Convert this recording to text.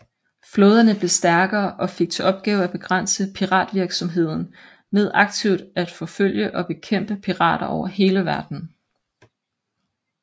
Flåderne blev stærkere og fik til opgave at begrænse piratvirksomheden ved aktivt at forfølge og bekæmpe pirater over hele verden